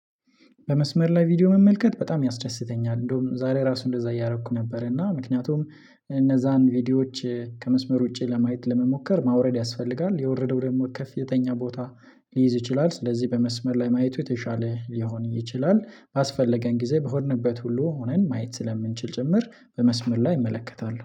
በመስመር ላይ ቪዲዮ መመልከት በጣም ያስደስተኛል እንደውም ዛሬ ራሱ እንደዛ እያደረኩ ነበር። እና ምክንያቱም እነዚያን ቪዲዮዎች ከመስመር ውጪ ለማየት ለመሞከር ማውረድ ያስፈልጋል የወረደው ደግሞ ከፍተኛ ቦታ ሊይዝ ይችላል። ስለዚህ በመስመር ላይ ማየቱ የተሻለ ሊሆን ይችላል። ባስፈለገን ጊዜ በሆንንበት ሁሉ ሆነን ማየት ስለምንችል ጭምር በመስመር ላይ እመለከታለሁ